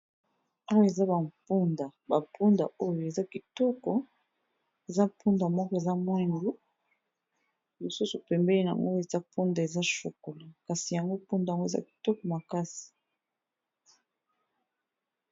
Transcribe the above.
Awa eza ba mpunda, ba mpunda oyo eza kitoko. Eza mpunda moko eza mwindu, mosusu pembeni nango eza mpunda eza chokolat, kasi yango mpunda yango eza kitoko makasi.